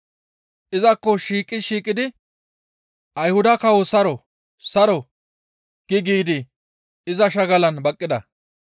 Izakko shiiqi shiiqidi, «Ayhuda kawo saro! saro!» gi giidi iza shagalan baqqida.